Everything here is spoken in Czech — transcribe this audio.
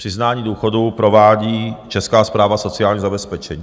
Přiznání důchodu provádí Česká správa sociálního zabezpečení.